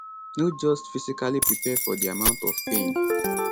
no just physically prepare for di amount of pain